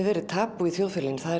vera tabú í þjóðfélaginu það